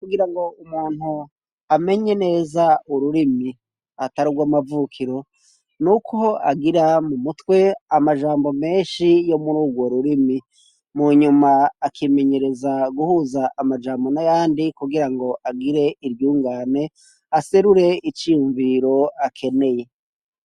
Kugira ngo umuntu amenye neza ururimi atari ugw' amavukiro n'uko agira mu mutwe amajambo menshi yo muri urwo rurimi mu nyuma akimenyereza guhuza amajambo n'ayandi kugira ngo agire iryungane aserure iciyumviriro akeneye.